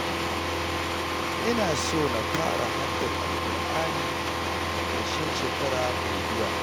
Ina so na fara haddar Al-Ƙur'ani a ƙarshen shekara mai zuwa